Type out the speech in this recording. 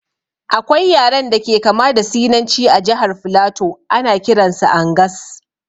Akwai yaren da ke kama da sinanci a jahar flato, ana kiran su angas